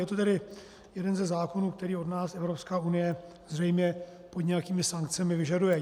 Je to tedy jeden ze zákonů, který od nás Evropská unie zřejmě pod nějakými sankcemi vyžaduje.